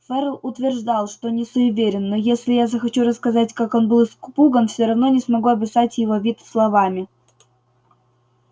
ферл утверждал что не суеверен но если я захочу рассказать как он был испуган все равно не смогу описать его вид словами